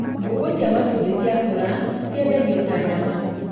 Ngũkũ cia matumbĩ ciakũra ciendagio ta nyama